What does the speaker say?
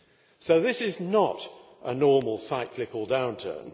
So this is not a normal cyclical downturn.